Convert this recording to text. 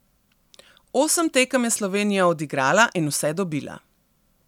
Osem tekem je Slovenija odigrala in vse dobila.